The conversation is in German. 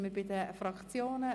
Wir kommen zu den Fraktionen.